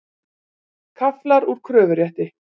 Kaflar úr kröfurétti.